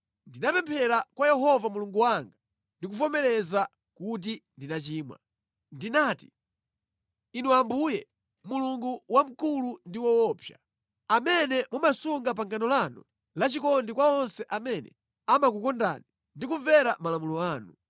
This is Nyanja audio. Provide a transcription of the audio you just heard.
Ndinapemphera kwa Yehova Mulungu wanga ndi kuvomereza kuti tinachimwa: Ndinati, “Inu Ambuye, Mulungu wamkulu ndi woopsa, amene mumasunga pangano lanu la chikondi kwa onse amene amakukondani ndi kumvera malamulo anu,